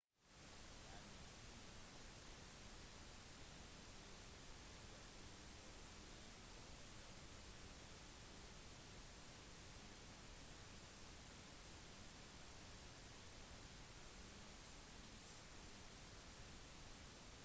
førmoderne observatorier er som regel litt foreldet i vår tid og blir gjerne benyttet til museer eller utdanningssteder